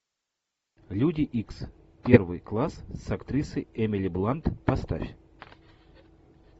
люди икс первый класс с актрисой эмили блант поставь